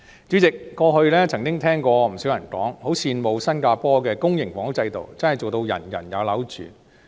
主席，過去曾聽過不少人說，很羨慕新加坡的公營房屋制度真正做到"人人有樓住"。